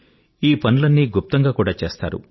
ఈ పనులన్నీ గుప్తంగా కూడా చేస్తారు